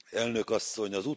Elnök asszony!